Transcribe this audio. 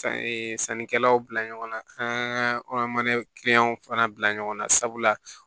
Sannikɛlaw bila ɲɔgɔnna an ka mana kiliyanw fana bila ɲɔgɔn na sabula